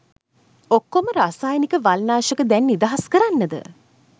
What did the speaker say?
ඔක්කොම රසායනික වල්නාශක දැන් නිදහස් කරන්නද